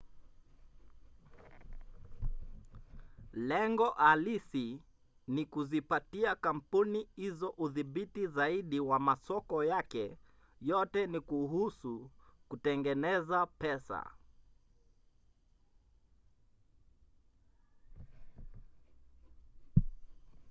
lengo halisi ni kuzipatia kampuni hizo udhibiti zaidi wa masoko yake; yote ni kuhusu kutengeneza pesa